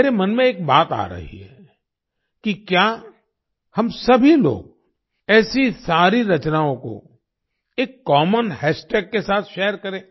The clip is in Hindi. मेरे मन में एक बात आ रही है कि क्या हम सभी लोग ऐसी सारी रचनाओं को एक कॉमन हाश टैग के साथ शेयर करें